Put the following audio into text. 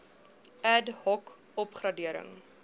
ad hoc opgradering